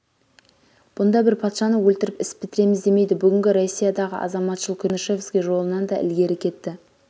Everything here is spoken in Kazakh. бұнда бір патшаны өлтіріп іс бітіреміз демейді бүгінгі россиядағы азаматшылық күресі чернышевский жолынан да ілгері кетті